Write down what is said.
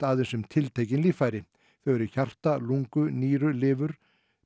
aðein s um tiltekin líffæri þau eru hjarta lungu nýru lifur